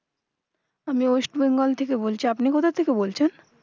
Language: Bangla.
আমি West Bengal থেকে বলছি আপনি কোথা থেকে বলছেন?